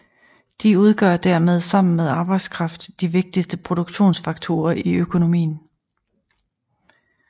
De udgør dermed sammen med arbejdskraft de vigtigste produktionsfaktorer i økonomien